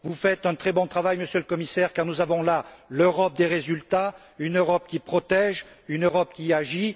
Vous faites un très bon travail, Monsieur le Commissaire, car nous avons là l'Europe des résultats, une Europe qui protège, une Europe qui agit.